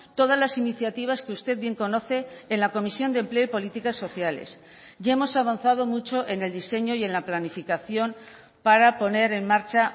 todas las iniciativas que usted bien conoce en la comisión de empleo y políticas sociales ya hemos avanzado mucho en el diseño y en la planificación para poner en marcha